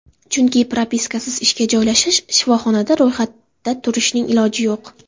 Chunki propiskasiz ishga joylashish, shifoxonada ro‘yxatda turishning iloji yo‘q.